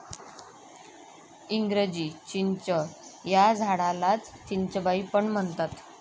इंग्रजी चिंच या झाडालाच'चिंचबाई' पण म्हणतात.